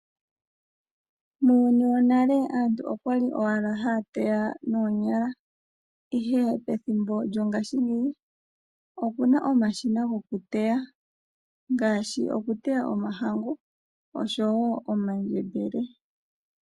Muuyuni wonale aantu okwali owala haya teya noonyala ihe pethimbo lyo ngashi ngeyi opuna omashina goku teya ngaashi okuteya omahangu nomandjebele.